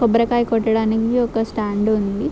కొబ్బరికాయ కొట్టడానికి ఒక స్టాండ్ ఉంది.